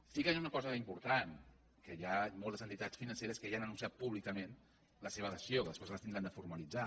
sí que hi ha una cosa important i és que hi ha moltes entitats financeres que ja han anunciat públicament la seva adhesió que després les haurem de formalitzar